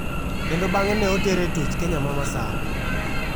Kendo bang'e ne otere e twech Kenya ma Masawa.